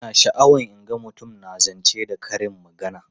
Ina sha'awar in ga mutum na zance da karin magana.